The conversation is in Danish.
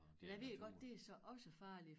Men jeg ved godt det så også farligt